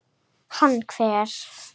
Hann hver?